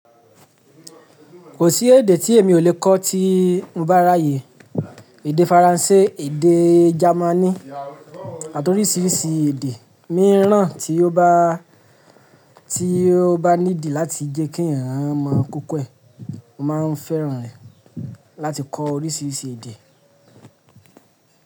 Kò sí èdè tí èmi ò le kọ́ tí n bá ráyè, èdè Faransé, èdè Jamaní àti orísìírísìí èdè, mí ràn tí ó bá, tí ó bá ní dì láti jẹ́ kí eeyan mọ̀ koko e. Mo máa ń fẹ́ràn rẹ̀ láti kọ orísìírísìí èdè.